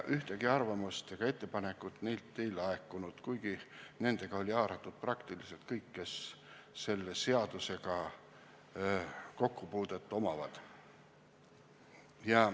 Ühtegi arvamust ega ettepanekut neilt ei laekunud, kuigi nendega oli haaratud peaaegu kõik, kes selle seadusega kokkupuudet omavad.